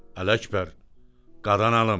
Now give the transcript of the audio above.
Ələkbər, qadan alım.